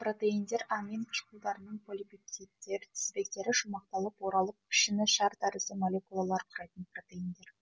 протеиндер амин қышқылдарының полипептидтер тізбектері шумақталып оралып пішіні шар тәрізді молекулалар құрайтын протеиндер